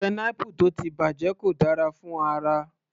Pineapple tó ti bàjẹ́ kò dára fún ara